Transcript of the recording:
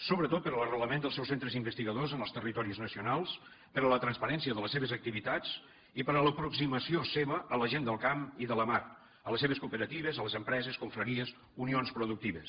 sobretot per a l’arrelament del seus centres investigadors en els territoris nacionals per a la transparència de les seves activitats i per a l’aproximació seva a la gent del camp i de la mar a les seves cooperatives a les empreses confraries unions productives